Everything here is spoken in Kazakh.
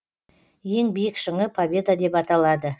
ең биік шыңы победа деп аталады